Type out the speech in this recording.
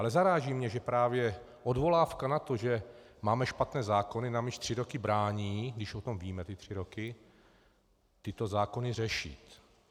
Ale zaráží mě, že právě odvolávka na to, že máme špatné zákony, nám již tři roky brání, když o tom víme ty tři roky, tyto zákony řešit.